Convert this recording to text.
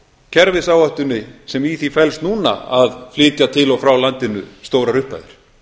kerfisáhættunni sem í því felst núna að flytja til og frá landinu stórar upphæðir